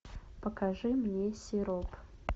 покажи мне сироп